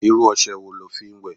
Irú ose wo lo fi ń wẹ?